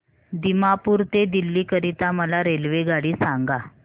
दिमापूर ते दिल्ली करीता मला रेल्वेगाडी सांगा